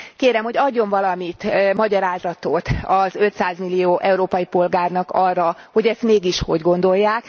Kérem, hogy adjon valami magyarázatot az 500 millió európai polgárnak arra, hogy ezt mégis hogy gondolják.